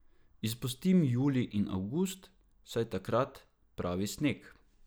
Izpustim julij in avgust, saj takrat pravi sneg.